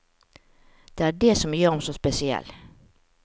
Det er det som gjør ham så spesiell.